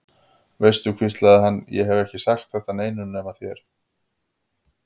Veistu, hvíslaði hann, ég hef ekki sagt þetta neinum nema þér.